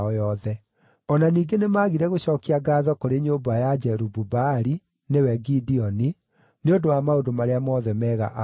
O na ningĩ nĩmagire gũcookia ngaatho kũrĩ nyũmba ya Jerubu-Baali (nĩwe Gideoni) nĩ ũndũ wa maũndũ marĩa mothe mega aamekĩire.